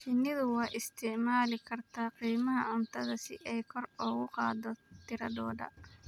Shinnidu waxay isticmaali kartaa qiimaha cuntada si ay kor ugu qaaddo tiradooda.